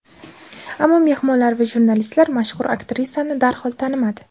Ammo mehmonlar va jurnalistlar mashhur aktrisani darhol tanimadi.